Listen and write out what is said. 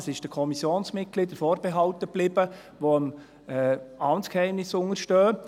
Das war den Kommissionsmitgliedern vorbehalten, die dem Amtsgeheimnis unterstehen.